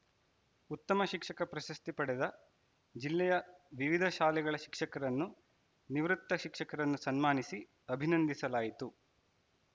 ಉತ್ತಮ ಶಿಕ್ಷಕ ಪ್ರಶಸ್ತಿ ಪಡೆದ ಜಿಲ್ಲೆಯ ವಿವಿಧ ಶಾಲೆಗಳ ಶಿಕ್ಷಕರನ್ನು ನಿವೃತ್ತ ಶಿಕ್ಷಕರನ್ನು ಸನ್ಮಾನಿಸಿ ಅಭಿನಂದಿಸಲಾಯಿತು